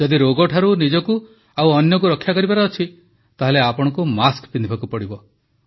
ଯଦି ରୋଗଠାରୁ ନିଜକୁ ଓ ଅନ୍ୟକୁ ରକ୍ଷା କରିବାର ଅଛି ତାହାହେଲେ ଆପଣଙ୍କୁ ମାସ୍କ ପିନ୍ଧିବାକୁ ପଡ଼ିବ